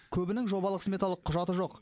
көбінің жобалық сметалық құжаты жоқ